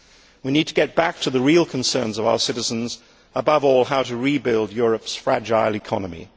We need to get back to the real concerns of our citizens, above all, how to rebuild Europe's fragile economy.